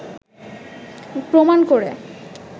প্রমাণ করে